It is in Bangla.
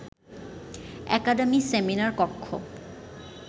একাডেমীর সেমিনার কক্ষ